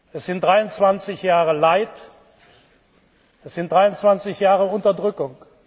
Das sind 23 Jahre Leid, das sind 23 Jahre Unterdrückung.